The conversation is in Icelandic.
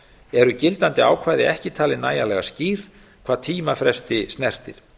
eru gildandi ákvæði ekki talin nægjanlega skýr hvað tímafresti snertir